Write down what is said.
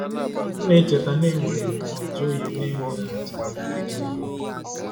M na-echeta na enwere m ọ joyụ na-enweghị atụ na ike dị n'ime.